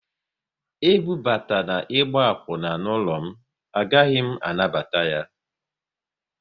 E bubatana ịgba akwuna n'ụlọ m, a gaghị m anabata ya!